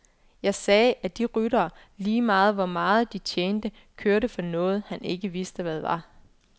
Jeg sagde, at de ryttere, ligegyldig hvor meget de tjente, kørte for noget, han ikke vidste hvad var.